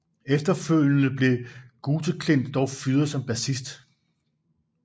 Efterfølgende blev Guteklint dog fyret som bassist